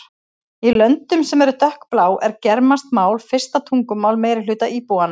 Í löndum sem eru dökkblá er germanskt mál fyrsta tungumál meirihluta íbúanna.